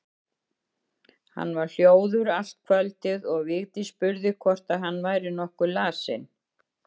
Hann var hljóður um kvöldið og Vigdís spurði hvort hann væri nokkuð lasinn.